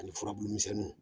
Ani furabulu misɛnniw